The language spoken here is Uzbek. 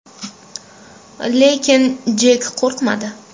Lekin Jek qo‘rqmadi.